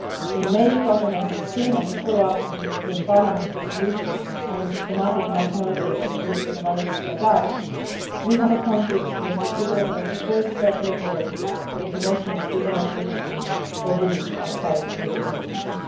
In May 2016, as a follow up to the European Parliament's resolution on the systematic mass murder of religious minorities by Daesh, we appointed Mr Figel' as the first Special Envoy for the promotion of freedom of religion or belief outside the European Union.